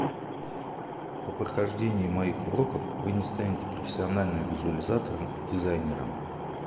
по прохождении моих уроков вы не станете профессиональным визуализатором дизайнером